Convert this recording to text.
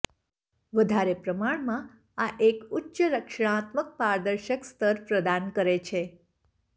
વધારે પ્રમાણમાં આ એક ઉચ્ચ રક્ષણાત્મક પારદર્શક સ્તર પ્રદાન કરે છે